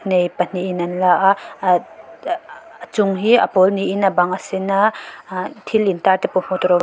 nei pahnihin an la a ad aa a chung hi a pawl niin a bang a sen a aa thil intar te pawh hmuh tur a awm--